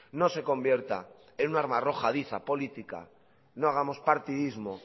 no se convierta en una arma arrojadiza política no hagamos partidismo